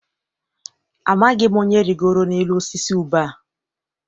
Amaghị m onye rigoro n'elu osisi ube a.